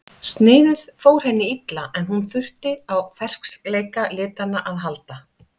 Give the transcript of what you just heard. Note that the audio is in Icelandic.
Sniðið fór henni illa en hún þurfti á ferskleika litanna að halda.